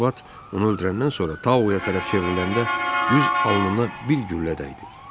İkinci vat onu öldürəndən sonra Tao bu tərəfə çevriləndə düz alnına bir güllə dəydi.